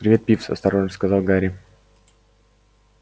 привет пивз осторожно сказал гарри